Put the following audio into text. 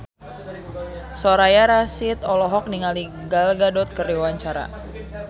Soraya Rasyid olohok ningali Gal Gadot keur diwawancara